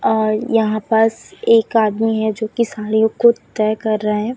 और यहां पास एक आदमी है जो कि साड़ियों को तय कर रहे हैं।